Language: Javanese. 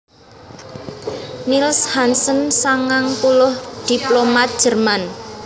Niels Hansen sangang puluh diplomat Jerman